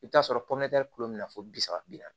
I bɛ t'a sɔrɔ pɔmɛri bɛ na fɔ bi saba bi naani